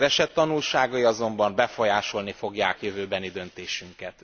Az eset tanulságai azonban befolyásolni fogják jövőbeni döntéseinket.